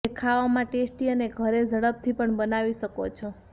જે ખાવામા ટેસ્ટી અને ઘરે ઝડપથી બનાવી પણ શકો છો